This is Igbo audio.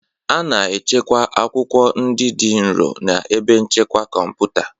A na-echekwa akwụkwọ ndị dị nro na ebe nchekwa kọmputa